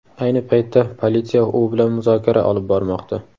Ayni paytda politsiya u bilan muzokara olib bormoqda.